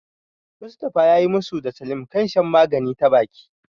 Mustafa yayi musu da Salim a kan shan magani ta baki.